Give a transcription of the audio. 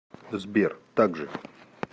сбер так же